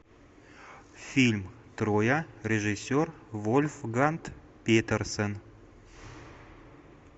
фильм троя режиссер вольфганг петерсен